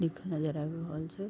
नजर आब रहल छै।